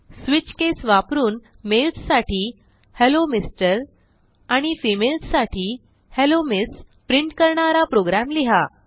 switch case वापरून males साठी hello MR आणि फेमालेस साठी हेल्लो एमएस प्रिंट करणारा प्रोग्रॅम लिहा